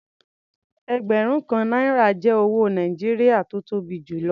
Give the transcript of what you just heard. Ẹgbẹ̀rún kan náírà jẹ́ owó Nàìjíríà tó tó bi jù lọ.